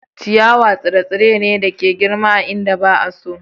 Ciyawa tsire-tsire ne da ke girma a inda ba a so.